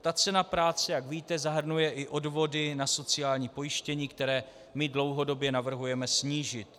Ta cena práce, jak víte, zahrnuje i odvody na sociální pojištění, které my dlouhodobě navrhujeme snížit.